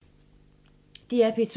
DR P2